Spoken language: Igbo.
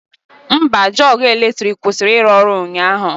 Mba, jọg eletrik kwụsịrị ịrụ ọrụ ụnyaahụ